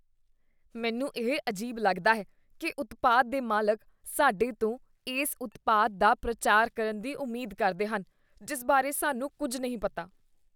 ਮੈਨੂੰ ਇਹ ਅਜੀਬ ਲੱਗਦਾ ਹੈ ਕੀ ਉਤਪਾਦ ਦੇ ਮਾਲਕ ਸਾਡੇ ਤੋਂ ਇਸ ਉਤਪਾਦ ਦਾ ਪ੍ਰਚਾਰ ਕਰਨ ਦੀ ਉਮੀਦ ਕਰਦੇ ਹਨ ਜਿਸ ਬਾਰੇ ਸਾਨੂੰ ਕੁੱਝ ਨਹੀਂ ਪਤਾ।